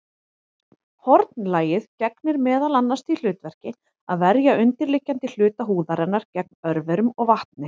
Hornlagið gegnir meðal annars því hlutverki að verja undirliggjandi hluta húðarinnar gegn örverum og vatni.